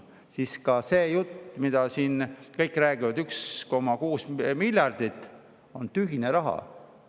Kõik räägivad siin 1,6 miljardi euro juttu – see on tühine raha.